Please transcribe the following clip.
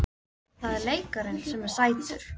Það er leikarinn sem er sætur!